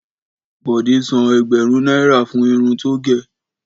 Bọ̀dé san ẹgbẹ̀rún náírà fún irun tó gẹ̀.